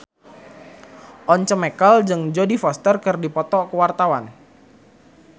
Once Mekel jeung Jodie Foster keur dipoto ku wartawan